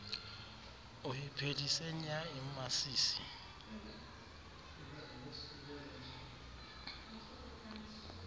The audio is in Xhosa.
uyiphelise nya imasisi